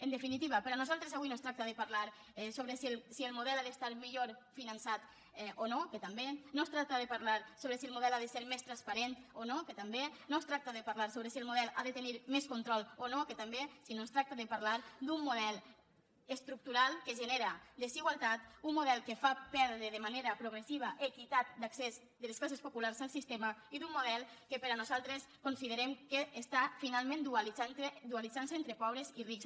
en definitiva per nosaltres avui no es tracta de parlar sobre si el model ha d’estar millor finançat o no que també no es tracta de parlar sobre si el model ha de ser més transparent o no que també no es tracta de parlar sobre si el model ha de tenir més control o no que també sinó que es tracta de parlar d’un model estructural que genera desigualtat un model que fa perdre de manera progressiva equitat d’accés de les classes populars al sistema i d’un model que nosaltres considerem que està finalment dualitzant se entre pobres i rics